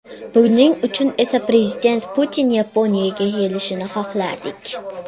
Buning uchun esa prezident Putin Yaponiyaga kelishini xohlardik.